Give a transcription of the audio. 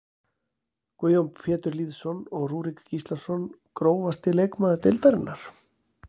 Guðjón Pétur Lýðsson og Rúrik Gíslason Grófasti leikmaður deildarinnar?